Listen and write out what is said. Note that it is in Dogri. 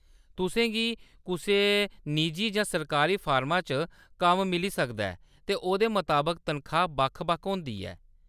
तुसेंगी कुसै निजी जां सरकारी फर्मा च कम्म मिली सकदा ऐ, ते ओह्‌दे मताबक तनखाह् बक्ख-बक्ख होंदी ऐ।